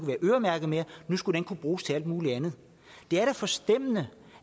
være øremærket nu skulle den kunne bruges til alt muligt andet det er da forstemmende